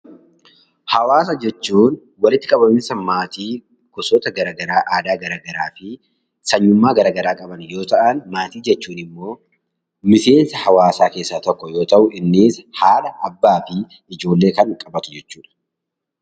Hawaasa jechuun walitti qabamiinsa maatii gosoota gara garaa, aadaa gara garaa fi sanyummaa gara garaa qaban yoo ta'ani, maatii jechuun immoo miseensa hawaasaa keessaa tokko yoo ta'u, innis haadha ,abbaa fi ijoollee kan qabatu jechuudha.